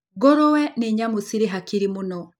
Ngũrũwe nĩ nyamũ cirĩ hakiri mũno.